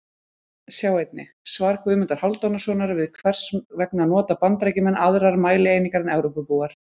Sjá einnig: Svar Guðmundar Hálfdanarsonar við Hvers vegna nota Bandaríkjamenn aðrar mælieiningar en Evrópubúar?